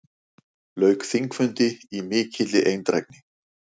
Lauk þingfundi í mikilli eindrægni.